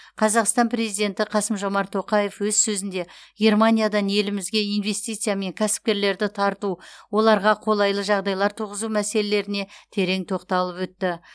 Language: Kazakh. қазақстан президенті қасым жомарт тоқаев өз сөзінде германиядан елімізге инвестиция мен кәсіпкерлерді тарту оларға қолайлы жағдайлар туғызу мәселеріне терең тоқталып өтті